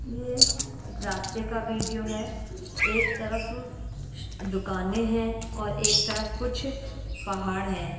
ये एक रास्ते का वीडियो है एक तरफ स दुकाने हैं और एक तरफ कुछ पहाड़ है।